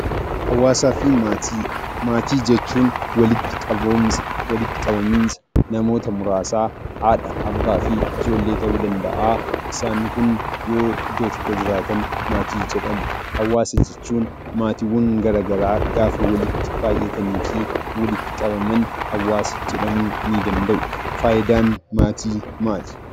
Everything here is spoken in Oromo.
Hawaasafi maatii; maatii jechuun walitti qabaminsaa namoota muraasa haadha, abbaa, ijoollee ta'u danda'a; isaan kun yoo iddoo tokko jiraatan maatii jedhamu. hawaasa jechuun maatiiwwaan garagaraa gaafa walitti baay'atannifi walitti qabamaan hawaasa jedhamuu ni dandaa'u. Faayidaan maatii maali?